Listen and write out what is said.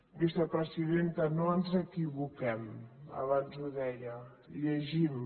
vicepresidenta no ens equivoquem abans ho deia llegim